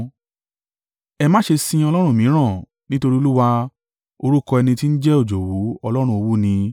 Ẹ má ṣe sin ọlọ́run mìíràn, nítorí Olúwa, orúkọ ẹni ti ń jẹ́ Òjòwú, Ọlọ́run owú ni.